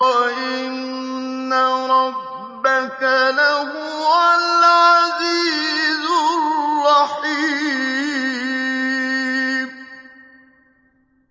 وَإِنَّ رَبَّكَ لَهُوَ الْعَزِيزُ الرَّحِيمُ